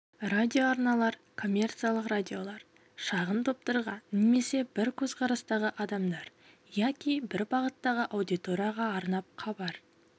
радиоарналар коммерциялық радиолар шағын топтарға немесе бір көзқарастағы адамдар яки бір бағыттағы аудиторияға арнап хабар